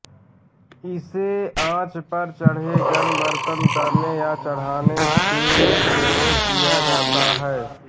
इसे आंच पर चढ़े गर्म बर्तन उतारने या चढ़ाने में प्रयोग किया जाता है